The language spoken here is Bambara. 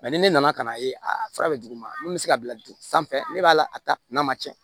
ni ne nana ka na ye a fura bɛ d'u ma mun bɛ se ka bila dugu sanfɛ ne b'a la a ta n'a ma cɛn